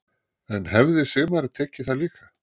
En hefði Sigmar tekið það líka?